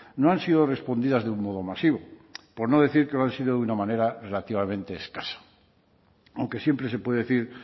no han sido respondidas de un modo masivo por no decir que lo han sido de una manera relativamente escasa aunque siempre se puede decir